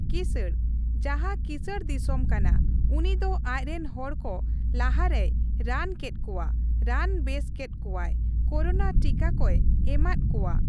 ᱠᱤᱥᱟᱺᱬ, ᱡᱟᱦᱟᱸ ᱠᱤᱥᱟᱺᱬ ᱫᱤᱥᱚᱢ ᱠᱟᱱᱟ, ᱩᱱᱤ ᱫᱚ ᱟᱡᱨᱮᱱ ᱦᱚᱲ ᱠᱚ ᱞᱟᱦᱟ ᱨᱮᱭ ᱨᱟᱱ ᱠᱮᱫ ᱠᱚᱣᱟ ᱾ ᱨᱟᱱ ᱵᱮᱥ ᱠᱮᱫ ᱠᱚᱣᱟᱭ, ᱠᱳᱨᱳᱱᱟ ᱴᱤᱠᱟ ᱠᱚᱭ ᱮᱢᱟᱫ ᱠᱚᱣᱟ ᱾